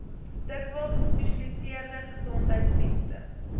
dikwels gespesialiseerde gesondheidsdienste